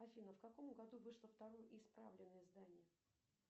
афина в каком году вышло второе исправленное издание